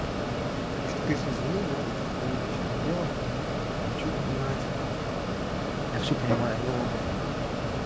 миш ты конечно извини да это твоё личное дело в что там играть я всё понимаю но